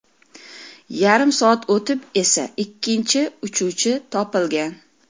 Yarim soat o‘tib esa ikkinchi uchuvchi topilgan.